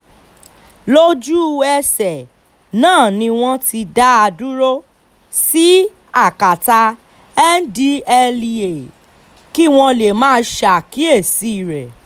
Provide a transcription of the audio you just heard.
lójú-ẹsẹ̀ náà ni wọ́n ti dá a dúró sí akátá ndtea kí wọ́n lè máa ṣàkíyèsí rẹ̀